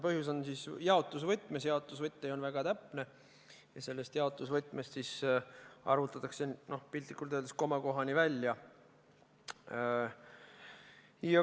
Põhjus on jaotusvõtmes, jaotusvõti on väga täpne ja selles jaotusvõtmes arvutatakse piltlikult öeldes komakohani välja.